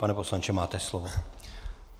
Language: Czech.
Pane poslanče, máte slovo.